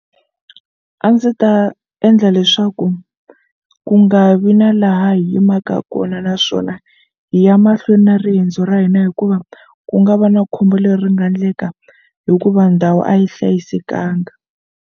A ndzi ta endla leswaku ku nga vi na laha hi yimaka kona naswona hi ya mahlweni na riyendzo ra hina hikuva ku nga va na khombo leri nga ndleka hikuva ndhawu a yi hlayisekanga.